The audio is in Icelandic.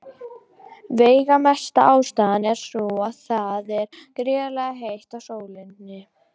Veigamesta ástæðan er sú að það er gríðarlega heitt á sólinni.